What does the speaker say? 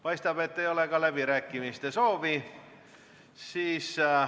Paistab, et ei ole ka läbirääkimiste soovi.